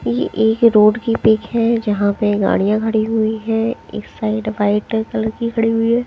यह एक रोड की पिक है जहां पे गाड़ियां खड़ी हुई है इस साइड वाइट कलर की खड़ी हुई है।